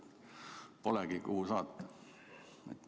Polegi, kuhu saata.